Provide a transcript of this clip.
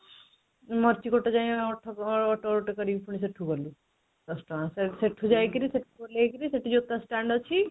ମାର୍ଚିକାଟ ଯାଇଁ auto ଗୋଟାଏ କରିକି ପୁଣି ସେଠୁ ଗଲୁ ଦଶ ଟଙ୍କା ସେଠୁ ଯାଇକିରି ସେଠୁ ଓହ୍ଲେଇ କିରି ସେଠି ଜୋତା stand ଅଛି